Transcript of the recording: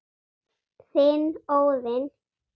Þinn, Óðinn.